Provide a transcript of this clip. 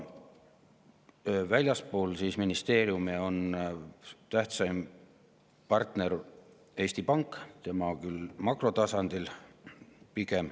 Väljaspool ministeeriume on tähtsaim partner Eesti Pank, seda küll pigem makrotasandil.